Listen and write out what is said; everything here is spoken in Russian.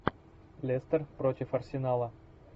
лестер против арсенала